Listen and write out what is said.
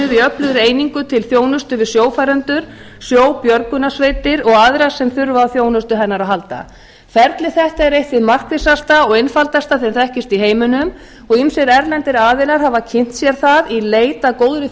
í öflugri einingu til þjónustu við sjófarendur sjóbjörgunarsveitir og aðra sem þurfa á þjónustu hennar að halda hvernig þetta er eitt hið markvissasta og einfaldasta sem þekkist í heiminum og ýmsir erlendir aðilar hafa kynnt sér það í leit að góðri